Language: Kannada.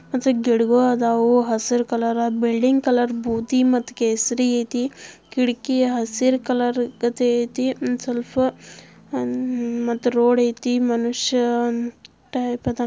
ಗಿಡಗಳು ಅದವ್ ಹಸಿರು ಕಲರ್ ಬಿಲ್ಡಿಂಗ್ ಕೇಸರಿ ಕಲರ್ ಐತೆ ಖಿಡಕಿ ಹಸೀರ್ ಕಲರ್ ಐತಿ ರೋಡ್ ಐತಿ ಮಾನುಷ--